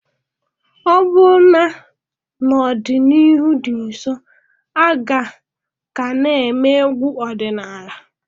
Ọbụna n'ọdịnihu dị nso aga ka n'eme egwu odinala